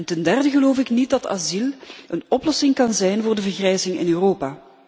Ten derde geloof ik niet dat asiel een oplossing kan zijn voor de vergrijzing in Europa.